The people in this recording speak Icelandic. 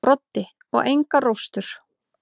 Broddi: Og engar róstur.